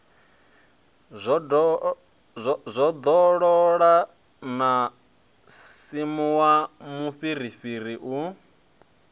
zwondolola no sinvuwa mufhirifhiri u